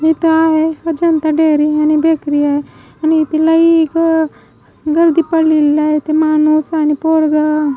येत आहे अजंता डेअरी आणि बेकरी आहे आणि तिला एक गर्दी पडलेली आहे ते माणूस आणि पोरग --